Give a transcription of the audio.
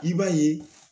I b'a ye